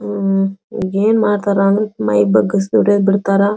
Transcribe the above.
ಉಹ್ಹ್ಹ್ ಈವಾಗ ಏನ್ ಮಾಡ್ತಾರಾ ಅಂದ್ರ ಮೈ ಬಗ್ಗಿಸಿ ದುಡಿಯೋದ್ ಬಿಡ್ತಾರಾ.